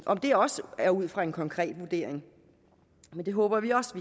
om det også er ud fra en konkret vurdering det håber vi også